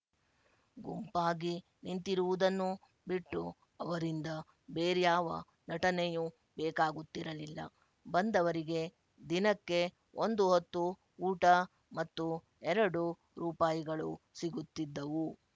ಗುಂಪಾಗಿ ನಿಂತಿರುವುದನ್ನು ಬಿಟ್ಟು ಅವರಿಂದ ಬೇರ್ಯಾವ ನಟನೆಯೂ ಬೇಕಾಗುತ್ತಿರಲಿಲ್ಲ ಬಂದವರಿಗೆ ದಿನಕ್ಕೆ ಒಂದು ಹೊತ್ತು ಊಟ ಮತ್ತು ಎರಡು ರೂಪಾಯಿಗಳು ಸಿಗುತ್ತಿದ್ದವು